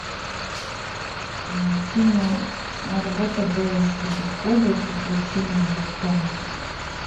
киноработа бэлы щербаковой приключения электроника